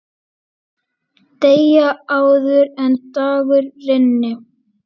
Deyja, áður en dagur rynni.